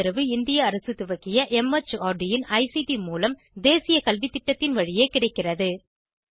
இதற்கு ஆதரவு இந்திய அரசு துவக்கிய மார்ட் இன் ஐசிடி மூலம் தேசிய கல்வித்திட்டத்தின் வழியே கிடைக்கிறது